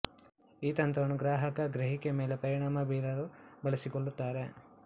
ಈ ತಂತ್ರವನ್ನು ಗ್ರಾಹಕ ಗ್ರಹಿಕೆ ಮೇಲೆ ಪರಿಣಾಅಮ ಬೀಳಲು ಬಳಸಿಕೊಳ್ಳುತ್ತಾರ